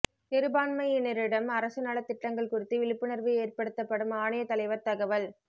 சிறுபான்மையினரிடம் அரசு நலத் திட்டங்கள் குறித்து விழிப்புணா்வு ஏற்படுத்தப்படும்ஆணையத் தலைவா் தகவல்